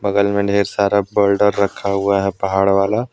बगल में ढेर सारा बोल्डर रखा हुआ हैं पहाड़ वाला।